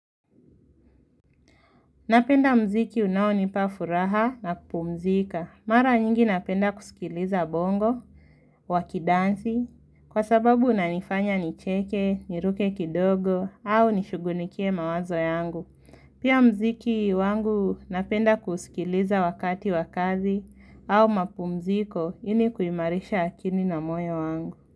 Napenda mziki unao nipafuraha na kupumzika. Mara nyingi napenda kusikiliza bongo, wakidansi, kwa sababu unanifanya nicheke, niruke kidogo, au nishughunikie mawazo yangu. Pia mziki wangu napenda kusikiliza wakati wakazi au mapumziko inikuimarisha akini na moyo wangu.